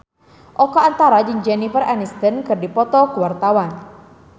Oka Antara jeung Jennifer Aniston keur dipoto ku wartawan